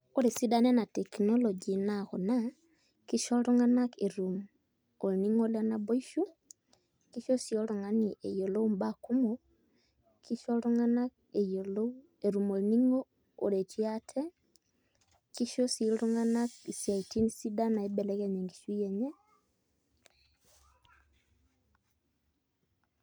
Ore esidano ena teknology naa kuna kisho iltung'anak etum olning'o le naboishu kisho sii oltung'ani eyiolou imbaa kumok kisho iltung'anak etum eng'eno naretie ate kisho sii iltung'anak isiaitin sidan naibelekenyie enkishui enye.